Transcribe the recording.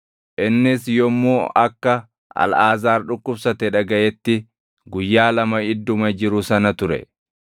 Innis yommuu akka Alʼaazaar dhukkubsate dhagaʼetti guyyaa lama idduma jiru sana ture.